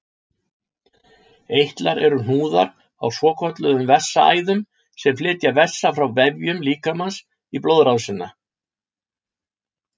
Eitlar eru hnúðar á svokölluðum vessaæðum sem flytja vessa frá vefjum líkamans í blóðrásina.